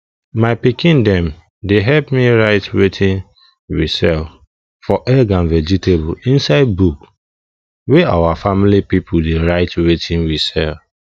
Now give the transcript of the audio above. my pikin dem dey help me write wetin we sell for egg and vegetable inside book wey our family pipo dey write wetin we sell